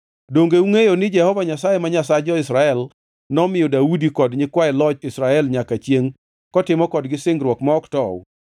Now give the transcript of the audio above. Donge ungʼeyo ni Jehova Nyasaye ma Nyasach jo-Israel nomiyo Daudi kod nyikwaye loch Israel nyaka chiengʼ kotimo kodgi singruok ma ok tow?